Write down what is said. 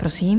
Prosím.